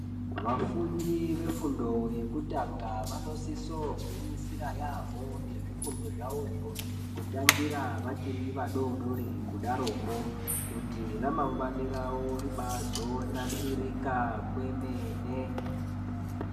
Vafundi vefundo yekutanga vanosisa kugwinyisira yambo nezvifundo zvawo kutangira vachiri vadodori kuti ramangwani rawo ribazonasirika kwemene.